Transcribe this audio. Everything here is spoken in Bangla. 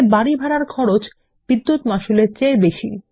বাড়ি ভাড়ার খরচ বিদ্যুৎ মাশুল এর চেয়ে বেশী